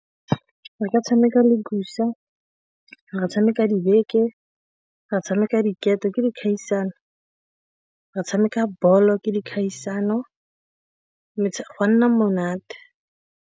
Re ka tshameka re tshameka dibeke, ra tshameka diketo ke dikgaisano, re a tshameka bolo ke dikgaisano go a nna monate.